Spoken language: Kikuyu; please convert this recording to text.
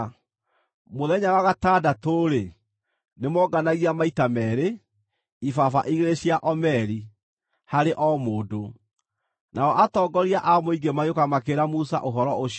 Mũthenya wa gatandatũ-rĩ, nĩmoonganagia maita meerĩ; ibaba igĩrĩ cia omeri harĩ o mũndũ. Nao atongoria a mũingĩ magĩũka makĩĩra Musa ũhoro ũcio.